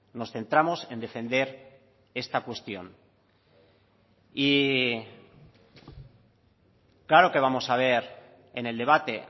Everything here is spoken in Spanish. nos centramos en defender esta cuestión y claro que vamos a ver en el debate